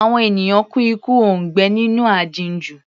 Àwọn ènìyàn kú ikú òǹgbẹ nínú aginjù.